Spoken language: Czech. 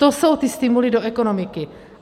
To jsou ty stimuly do ekonomiky.